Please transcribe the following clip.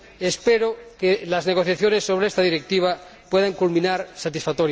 Espero que las negociaciones sobre esta Directiva puedan culminar satisfactoriamente.